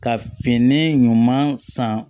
Ka fini ɲuman san